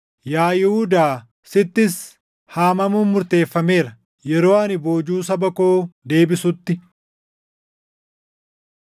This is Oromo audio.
“Yaa Yihuudaa sittis haamamuun murteeffameera. “Yeroo ani boojuu saba koo deebisutti,